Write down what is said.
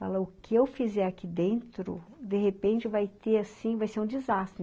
Fala, o que eu fizer aqui dentro, de repente, vai ter assim, vai ser um desastre.